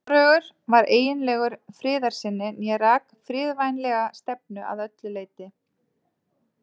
Hvorugur var eiginlegur friðarsinni né rak friðvænlega stefnu að öllu leyti.